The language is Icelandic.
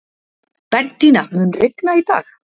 Bentína, mun rigna í dag?